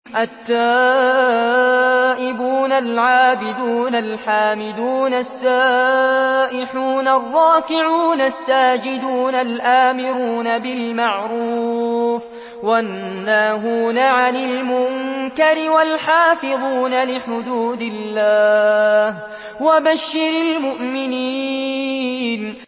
التَّائِبُونَ الْعَابِدُونَ الْحَامِدُونَ السَّائِحُونَ الرَّاكِعُونَ السَّاجِدُونَ الْآمِرُونَ بِالْمَعْرُوفِ وَالنَّاهُونَ عَنِ الْمُنكَرِ وَالْحَافِظُونَ لِحُدُودِ اللَّهِ ۗ وَبَشِّرِ الْمُؤْمِنِينَ